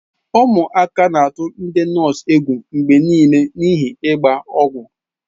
Ụmụaka na-atụ ndi nọọsụ egwu mgbe niile n'ihi ịgba ọgwụ.